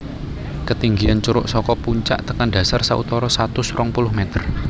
Ketinggian curug saka puncak tekan dasar sautara satus rong puluh meter